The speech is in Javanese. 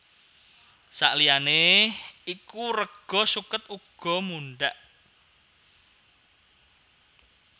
Saliyané iku rega suket uga mundhak